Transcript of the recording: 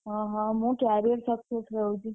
ଓହୋ ମୁଁ carrier success ରେ ହଉଛି।